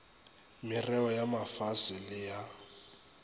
merreo ya mafase le ya